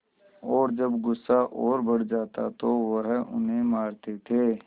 और जब गुस्सा और बढ़ जाता तो वह उन्हें मारते थे